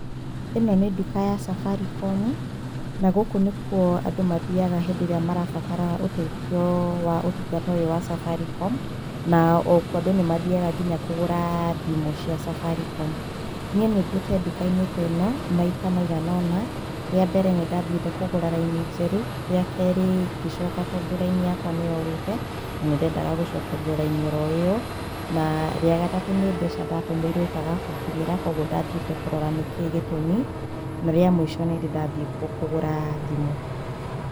Ĩno nĩ nduka ya Safaricom, na gũkũ nĩkuo andũ mathiaga hĩndĩ ĩrĩa marabatara ũteithio wa ũtungata ũyũ wa Safaricom na o kuo andũ nĩ mathiaga kũgũra thĩmũ cia cabarikomu. Niĩ nĩ thiĩte ndukaiĩ teno maita migana ona. Rĩa mbere ndathiĩte kũgũra raini njerũ, rĩa kerĩ ngicoka tondũ raini yakwa nĩ yorĩte na nĩ ndendaga gũcokerio raini oro ĩyo na rĩa gatatũ nĩ mbeca ndatũmĩirwo ikaga kũngĩnyĩra, kũoguo ndathiĩte kũrora nĩkĩĩ gĩtũmi, na rĩa mũico nĩndĩ ndathiĩ kuo kũgũra thimũ.